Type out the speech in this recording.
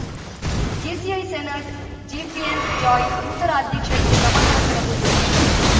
JCI senator Jefin Joy ನೂತನ ಅಧ್ಯಕ್ಷರಿಗೆ ಪ್ರಮಾಣವಚನ ಬೋಧಿಸಿದರು